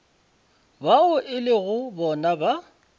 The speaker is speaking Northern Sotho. bao e lego bona ba